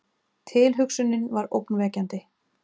Tilhugsunin var ógnvekjandi.